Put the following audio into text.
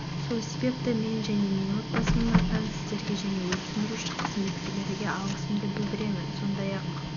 сол себепті мен және менің отбасымның атынан сіздерге және өрт сөндіруші қызметкерлерге алғысымды білдіремін сондай-ақ